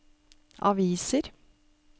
aviser